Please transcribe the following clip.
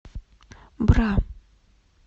бра